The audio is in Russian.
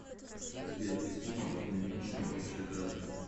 сбер источники наименьшее общее кратное